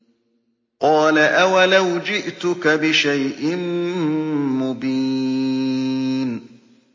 قَالَ أَوَلَوْ جِئْتُكَ بِشَيْءٍ مُّبِينٍ